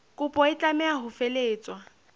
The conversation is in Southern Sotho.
kopo e tlameha ho felehetswa